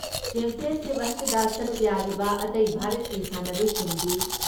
championship ꯑꯁꯤꯗ ꯁꯔꯨꯛ ꯌꯥꯔꯤꯕ ꯑꯇꯩ ꯚꯥꯔꯠꯀꯤ ꯁꯥꯟꯅꯔꯣꯏꯁꯤꯡꯗꯤ